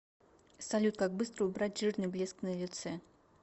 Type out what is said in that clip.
салют как быстро убрать жирный блеск на лице